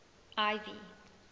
ivy